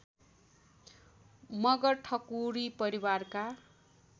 मगर ठकुरी परिवारका